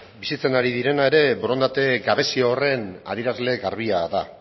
bizitzen ari direna ere borondate gabezia horren adierazle garbia da